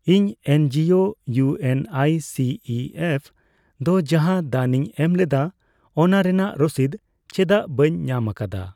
ᱤᱧ NGO U N I C E F ᱫᱚ ᱡᱟᱦᱟᱸ ᱫᱟᱱᱤᱧ ᱮᱢᱞᱮᱫᱟ ᱚᱱᱟ ᱨᱮᱱᱟᱜ ᱨᱚᱥᱤᱫ ᱪᱮᱫᱟᱜ ᱵᱟᱹᱧ ᱧᱟᱢ ᱟᱠᱟᱫᱟ?